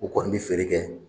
U kɔni bi feere kɛ.